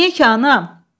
Niyə ki, anam?